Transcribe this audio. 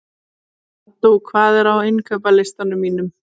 Addú, hvað er á innkaupalistanum mínum?